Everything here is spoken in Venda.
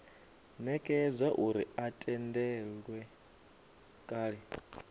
nekedzwa uri a tendelwe kale